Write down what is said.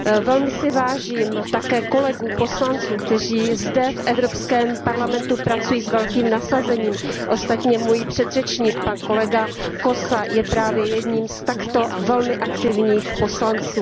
Velmi si vážím také kolegů poslanců, kteří zde v Evropském parlamentu pracují s velkým nasazením, ostatně můj předřečník, pan kolega Kósa, je právě jedním z takto velmi aktivních poslanců.